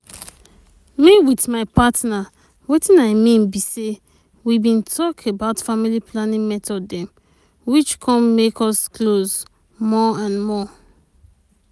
me with my partner wetin i mean be say we bin talk about family planning method dem which comes make us close more and more.